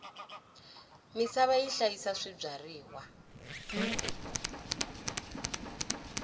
misava yi hlayisa swibyariwa